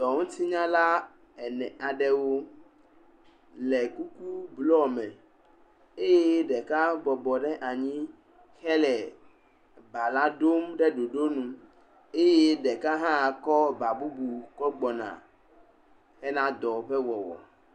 Xɔŋutinyala ene aɖewo le kuku blɔ me eye ɖeka bɔbɔ ɖe anyi hele ba la ɖom ɖe ɖoɖonu eye ɖeka hã kɔ ba bubu kɔ gbɔna hena dɔ ƒe wɔwɔ.